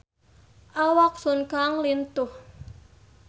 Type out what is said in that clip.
Awak Sun Kang lintuh